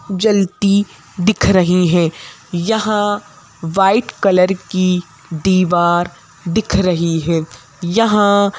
जलती दिख रही है यहां वाइट कलर की दीवार दिख रही है यहां--